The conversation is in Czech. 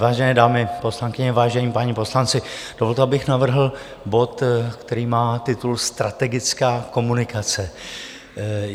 Vážené dámy poslankyně, vážení páni poslanci, dovolte, abych navrhl bod, který má titul Strategická komunikace.